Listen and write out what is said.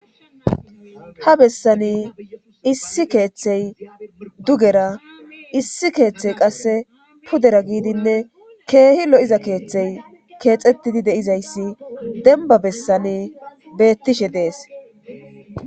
ha bessani issi keeththey dugera issi keeththey qasse pudera giidinne keehi lo7iza keeththey keexettidi de7izayssi demba bessani beettishe dees